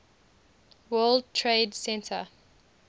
world trade center